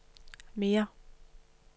mere